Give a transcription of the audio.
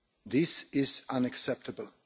This is unacceptable,